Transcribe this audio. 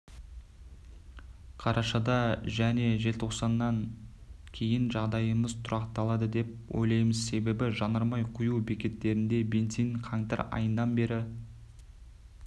қарашада және желтоқсаннан кейін жағдайымыз тұрақталады деп ойлаймыз себебі жанармай құю бекеттерінде бензин қаңтар айынан бері